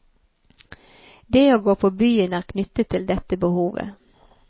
Det å gå på byen er knyttet til dette behovet.